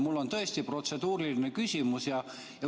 Mul on tõesti protseduuriline küsimus.